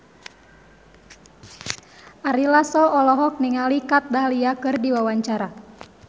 Ari Lasso olohok ningali Kat Dahlia keur diwawancara